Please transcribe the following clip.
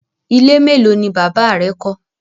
Ile melo ni baba rẹ kọ?